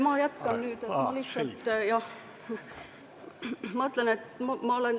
Ma jätkan nüüd, jah.